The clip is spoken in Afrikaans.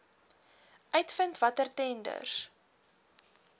uitvind watter tenders